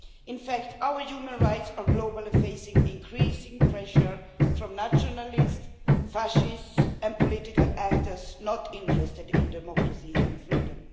In fact, our human rights are globally facing increasing pressure from nationalists, fascists and political actors not interested in democracy and freedom.